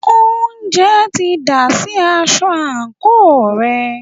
oúnjẹ ti dà sí aṣọ àńkò rẹ̀.